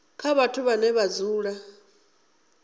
kha vhathu vhane vha dzula